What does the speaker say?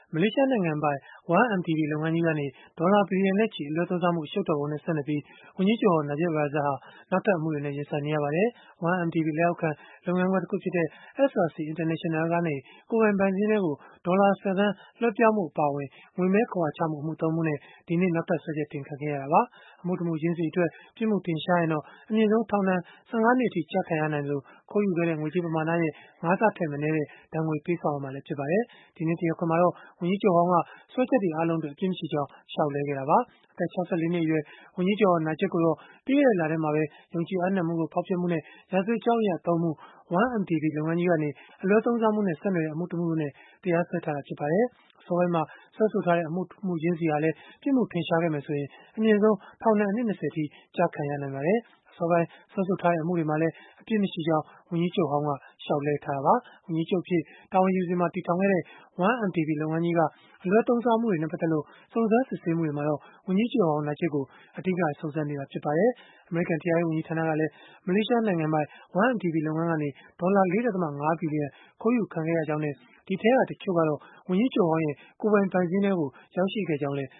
မလေးရှားနိုင်ငံပိုင် 1MDB လုပ်ငန်းကြီးကနေ ဒေါ်လာဘီလျံနဲ့ချီ အလွဲသုံးစားမှု အရှုပ်တော်ပုံနဲ့ ဆက်နွယ်ပြီး ဝန်ကြီးချုပ်ဟောင်း Najib Razak ဟာ နောက်ထပ် အမှုတွေနဲ့ ရင်ဆိုင်နေရပါတယ်။ 1MDB လက်အောက်ခံ လုပ်ငန်းခွဲတခုဖြစ်တဲ့SRC International ကနေ ကိုယ်ပိုင် ဘဏ်စာရင်းထဲကို ဒေါ်လာ ၁၀ သန်း လွဲှပြောင်းမှု အပါအဝင် ငွေမည်းခဝါချမှု အမှု ၃ မှုနဲ့ ဒီကနေ့ နောက်ထပ်စွဲချက်တင်ခံခဲ့ရတာပါ။ အမှုတမှုချင်းစီအတွက် ပြစ်မှုထင်ရှားရင်တော့ အမြင့်ဆုံးထောင်ဒဏ် ၁၅ နှစ်အထိ ကျခံရနိုင်သလို၊ ခိုးယူခဲ့တဲ့ ငွေကြေးပမာဏရဲ့ ၅ ဆထက်မနည်းတဲ့ ဒဏ်ငွေပေးဆောင်ရမှာ ဖြစ်ပါတယ်။ ဒီကနေ့ တရားခွင်မှာတော့ ဝန်ကြီးချုပ်ဟောင်းက စွဲချက်တွေအားလုံးအတွက် အပြစ်မရှိကြောင်း လျှောက်လဲခဲ့တာပါ။ အသက် ၆၄ နှစ်အရွယ် ဝန်ကြီးချုပ်ဟောင်း Najib ကိုတော့ ပြီးခဲ့တဲ့လထဲမှာပဲ ယုံကြည်အပ်နှံမှုကို ဖောက်ဖျက်မှုနဲ့ ရာဇဝတ်ကြောင်းအရ ၃ မှု၊ 1MDB လုပ်ငန်းကြီးကနေ အလွဲသုံးစားမှုနဲ့ ဆက်နွယ်တဲ့အမှု ၁ မှုတို့နဲ့ တရားစွဲထားတာ ဖြစ်ပါတယ်။ အစောပိုင်းမှာ စွဲဆိုထားတဲ့ အမှုတမှုချင်းစီဟာလည်း ပြစ်မှုထင်ရှားခဲ့မယ်ဆိုရင် အမြင့်ဆုံး ထောင်ဒဏ်အနှစ် ၂၀ အထိ ကျခံရနိုင်ပါတယ်။ အစောပိုင်း စွဲဆိုထားတဲ့ အမှုတွေမှာလည်း အပြစ်မရှိကြောင်း ဝန်ကြီးချုပ်ဟောင်းက လျှောက်လဲထားတာပါ။ ဝန်ကြီးချုပ်အဖြစ် တာဝန်ယူစဉ်မှာ တည်ထောင်ခဲ့တဲ့ 1MDB လုပ်ငန်းကြီးက အလွဲသုံးစားမှုတွေနဲ့ ပတ်သက်လို့ စုံစမ်းစစ်ဆေးမှုတွေမှာတော့ ဝန်ကြီးချုပ်ဟောင်း Najib ကို အဓိက စုံစမ်းနေတာ ဖြစ်ပါတယ်။ အမေရိကန် တရားရေး ဝန်ကြီးဌာနကလည်း မလေးရှားနိုင်ငံပိုင် 1MDB လုပ်ငန်းကနေ ဒေါ်လာ ၄.၅ ဘီလီယံ ခိုးယူခံခဲ့ရကြောင်းနဲ့ ဒီအထဲက တချို့ကတော့ ဝန်ကြီးချုပ်ဟောင်းရဲ့ ကိုယ်ပိုင်ဘဏ်စာရင်းထဲကို ရောက်ခဲ့ကြောင်းလည်း